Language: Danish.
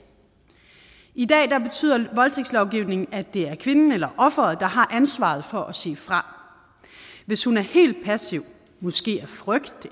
i dag betyder voldtægtslovgivningen at det er kvinden eller ofret der har ansvaret for at sige fra hvis hun er helt passiv måske af frygt